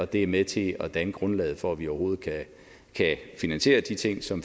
det er med til at danne grundlaget for at vi overhovedet kan finansiere de ting som